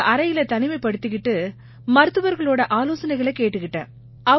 ஒரு அறையில தனிமைப்படுத்திக்கிட்டு மருத்துவர்களோட ஆலோசனைகளைக் கேட்டுக்கிட்டேன்